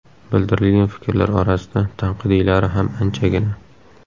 Bildirilgan fikrlar orasida tanqidiylari ham anchagina.